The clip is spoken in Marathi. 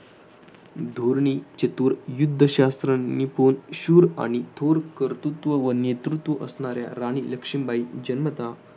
धोरणी चतुर युद्धशास्त्रनिपुण शूर आणि थोर कर्तृत्व व नेतृत्व असणाऱ्या राणी लक्ष्मीबाई जन्मतः